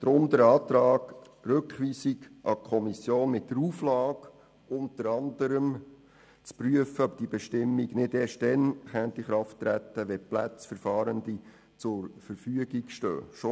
Deswegen der Antrag: Rückweisung an die Kommission mit der Auflage, es sei unter anderem zu prüfen, ob diese Bestimmung nicht erst dann in Kraft treten kann, wenn Plätze für Fahrende zur Verfügung stehen.